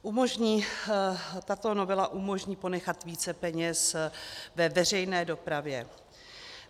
Tato novela umožní ponechat více peněz ve veřejné dopravě.